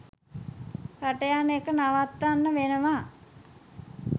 රට යන එක නවත්තන්න වෙනවා